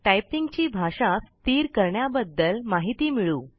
typing ची भाषा स्थिर करण्याबद्दल माहिती मिळवू